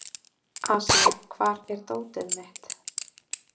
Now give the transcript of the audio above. Asía, hvar er dótið mitt?